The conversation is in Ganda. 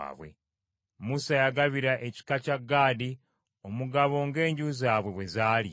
Musa yagabira ekika kya Gaadi omugabo ng’enju zaabwe bwe zaali: